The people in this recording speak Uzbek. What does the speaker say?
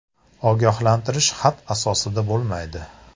- Ogohlantirish xat asosida bo‘lmaydi.